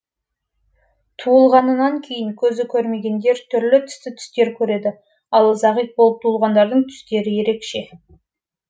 туылғанынан кейін көзі көрмегендер түрлі түсті түстер көреді ал зағип болып туылғандардың түстері ерекше